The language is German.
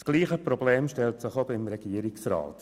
Das gleiche Problem stellt sich auch beim Regierungsrat.